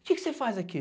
O que você faz aqui?